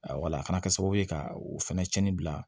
wala a kana kɛ sababu ye ka o fɛnɛ cɛnni bila